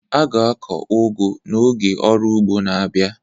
A ga-akụ ugu n'oge ọrụ ugbo na-abia.